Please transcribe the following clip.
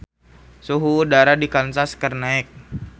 Suhu udara di Kansas keur naek